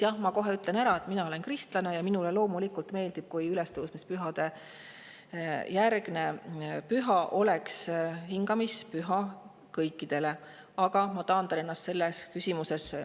Jah, ma ütlen kohe ära, et mina olen kristlane ja minule loomulikult meeldiks, kui ülestõusmispühade järgne püha oleks hingamispüha kõikidele, aga ma taandan ennast selles küsimuses.